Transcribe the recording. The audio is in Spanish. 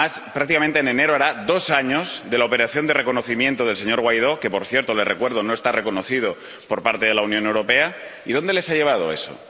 Prácticamente en enero hará dos años de la operación de reconocimiento del señor Guaidó —que, por cierto, les recuerdo que no ha sido reconocido por parte de la Unión Europea—, y ¿dónde les ha llevado eso?